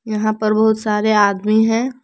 यहां पर बहुत सारे आदमी हैं।